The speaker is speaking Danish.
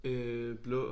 Øh blå